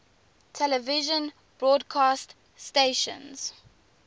television broadcast stations